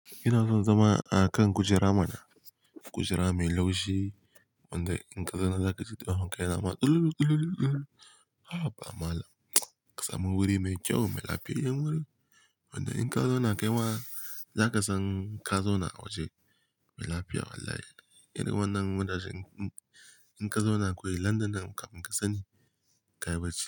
Ina son zama a kan kujera mana, kujera mai laushi wanda in ka zauna za ka ji ta wanka yana ma ɗululu ɗululu ɗululu. Haba ba mala, ka samu wuri mai kyau mai lafiyayyen wuri wanda in ka zauna kai ma za ka san ka zauna a waje mai lafiya wallahi. Irin wannan wurajen in ka zauna kawai London nan muka sani ka yi bacci.